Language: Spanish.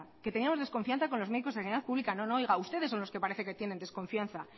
que teníamos desconfianza con los médicos de la sanidad pública no no oiga ustedes son los que parece que tienen desconfianza